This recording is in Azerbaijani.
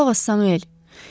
Qulaq as Samuel.